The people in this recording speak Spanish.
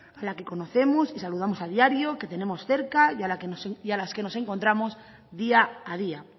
a la que conocemos y saludamos a diario que tenemos cerca y a las que nos encontramos día a día